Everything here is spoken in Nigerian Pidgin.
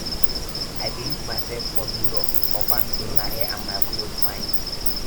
i dey look mysef for mirror confirm sey my hair and my cloth fine